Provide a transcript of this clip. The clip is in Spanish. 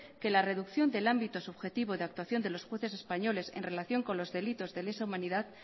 que la reducción del ámbito subjetivo de actuación de los jueces españoles en relación con los delitos de lesa humanidad